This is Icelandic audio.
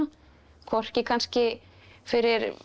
hvorki kannski fyrir